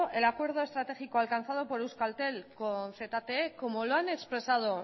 el acuerdo estratégico alcanzado por euskaltel con zte como lo han expresado